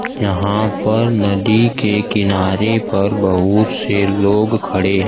यहां पर नदी के किनारे पर बहुत से लोग खड़े--